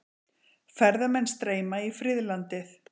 Ferðamenn streyma í friðlandið